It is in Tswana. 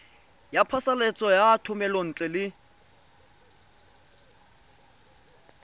ya phasalatso ya thomelontle le